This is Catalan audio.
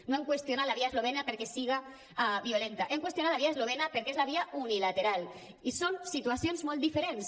no hem qüestionat la via eslovena perquè siga violenta hem qüestionat la via eslovena perquè és la via unilateral i són situacions molt diferents